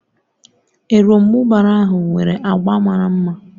Erombubara ahụ nwere agba mara mma